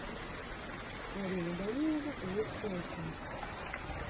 арина данилова лучшая часть